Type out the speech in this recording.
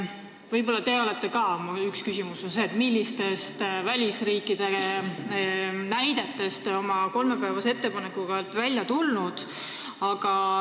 Millistele välisriikide näidetele te tuginesite, tulles välja oma ettepanekuga, et pikendada aega kolme päevani?